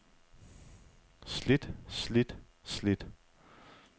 slidt slidt slidt